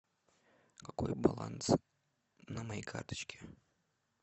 какой баланс на моей карточке